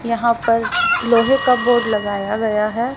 यहां पर लोहे का बोर्ड लगाया गया है।